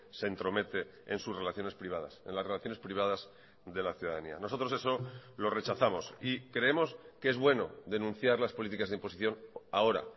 se entromete en sus relaciones privadas en las relaciones privadas de la ciudadanía nosotros eso lo rechazamos y creemos que es bueno denunciar las políticas de imposición ahora